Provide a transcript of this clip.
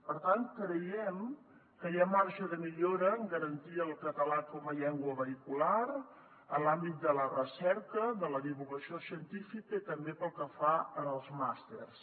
per tant creiem que hi ha marge de millora en garantir el català com a llengua vehicular en l’àmbit de la recerca de la divulgació científica i també pel que fa als màsters